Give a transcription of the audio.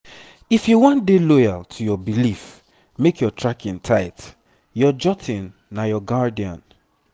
if you wan dey loyal to your belief make your tracking tight. your jotting na your guardian.